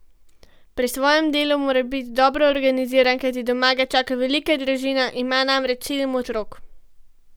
Pri svojem delu mora biti dobro organiziran, kajti doma ga čaka velika družina, ima namreč sedem otrok.